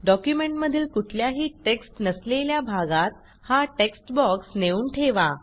डॉक्युमेंटमधील कुठल्याही टेक्स्ट नसलेल्या भागात हा टेक्स्ट बॉक्स नेऊन ठेवा